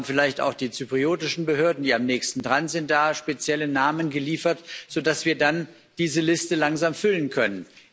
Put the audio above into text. Haben vielleicht auch die zyprischen Behörden, die ja am nächsten dran sind, spezielle Namen geliefert, sodass wir dann diese Liste langsam füllen können?